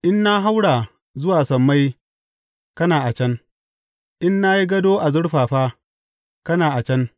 In na haura zuwa sammai, kana a can; in na yi gado a zurfafa, kana a can.